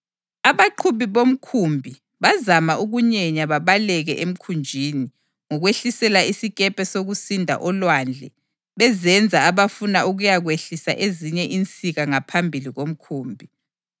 Abaqhubi bomkhumbi bazama ukunyenya babaleke emkhunjini ngokwehlisela isikepe sokusinda olwandle bezenza abafuna ukuyakwehlisa ezinye insika ngaphambili komkhumbi.